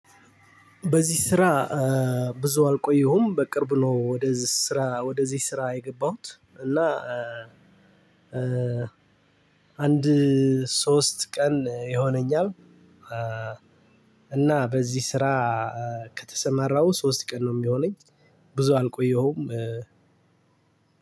በዚህ ስራ ብዙ አልቆየሁም። በቅርብ ነው ወደዚህ ስራ ወደዚህ ስራ የገባሁት እና አንድ ሶስት ቀን ይሆነኛል። እና በዚህ ስራ ከተሰማራሁ ሶስት ቀን ነው የሚሆነኝ ብዙ አልቆየሁም።